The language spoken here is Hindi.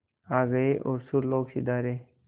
आ गए और सुरलोक सिधारे